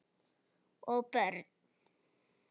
Og börn.